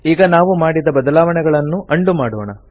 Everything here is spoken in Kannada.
ಈಗ ನಾವು ಮಾಡಿದ ಬದಲಾವಣೆಗಳನ್ನು ಉಂಡೋ ಮಾಡೋಣ